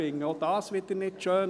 Auch dies finde ich nicht schön.